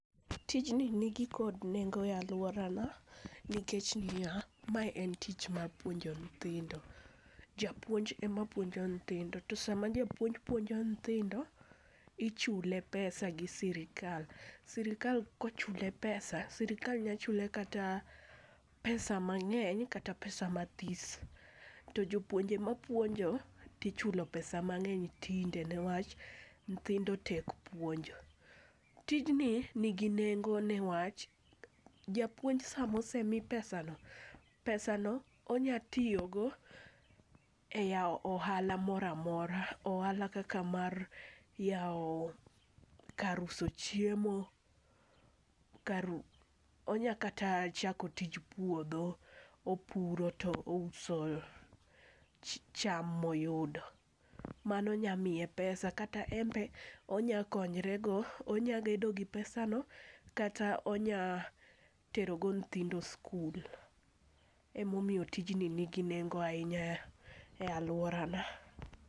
tijni nigi kod nengo e alworana nikech niya, mae ne tich mar puonjo nyithindo. Japuonj ema puonjo nyithindo, to sama japuonj puonjo nyithindo, ichule pesa gi sirikal, sirikal nya chule kata pesa mang'eny kata pesa mathis, to jopuonje mapuonjo tichulo pesa mang'eny tinde newach nyithindo tek puonjo. Tijni nigi nengo niwach japuonj sama osemi pesano, pesano onya tiyo go e yawo ohala mora mora, ohala kaka mar yawo kar uso chiemo, onya kata chako tij puodho, opuro to ouso cham moyudo. Mano nyamiye pesa. Kata en be, onya konyrego, onya gedo gi pesano, kata onya terogo nyithindo skul. Emomiyo tijni nigi nengo ahinya e alworana.